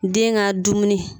Den ka dumuni